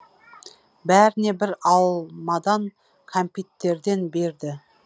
бәріне бір алмадан кәмпиттерден берді